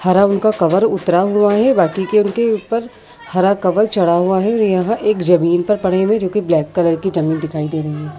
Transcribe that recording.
हरा रंग का कवर उतरा हुआ है। बाकी के उनके ऊपर हरा कवर चढ़ा हुआ है। यहाँ एक जमीन पे पड़े हुए हैं जो की ब्लैक कलर की ज़मीन दिखाई दे रही है।